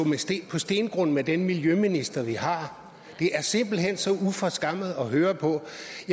på stengrund med den miljøminister vi har det er simpelt hen så uforskammet at høre på